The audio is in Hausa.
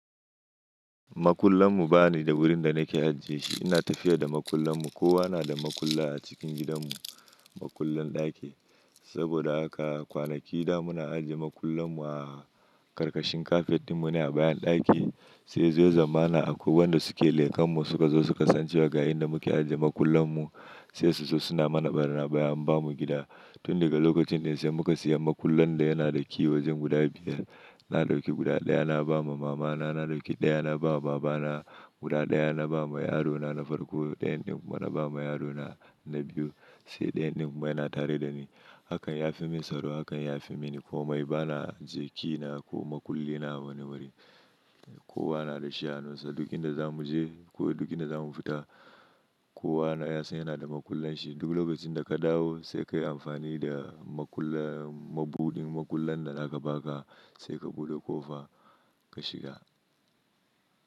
Makullan mu ba ni da wurin da na ke ajiye shi. Ina tafiya da makullan mu. Kowa na da makulla a cikin gidan mu, makullan ɗaki. Saboda haka kwanaki da muna ajiye makullan mu a ƙarƙashin kafet ɗin mu ne a bayan ɗaki, sai yazo ya zamana a kwai wanda su ke lekan mu suka zo su kasancewa ga inda mu ke ajiye makullan mu sai su so suna mana barnaba in ba mu gida. Tun daga lokacin sai muka siya makullan da yana da kiwo jin guda biyar. Na dauki guda ɗaya na ba ma mama na, na dauki ɗaya na ba wa baba na, guda ɗaya na ba ma yaro na na farko, ɗayan din kuma na ba ma yaro na na biyu sai ɗayan din kuma yana tare da ni. Hakan ya fi min tsaro hakan ya fi mini komai. Ba na ajiye kina ko makulli na a wani wuri. Kowa na da shi a hanunsa. Duk inda za mu je ko duk inda za mu fita kowa na ya san yana da makullan shi. Duk lokacin da ka dawo sai ka yi amfani da makullan mabudin makullan da za ka baka sai ka buɗe ƙofa ka shiga.